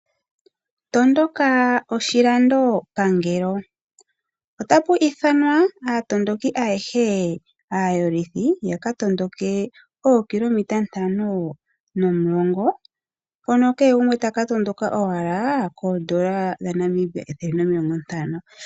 Tondoka oshilando pangelo, otapu ithanwa aatondoki ayehe aayolithi yakatondoke ookilometa ntano nokilometa mulongo. Mpono keegumwe taka tondokela N$150.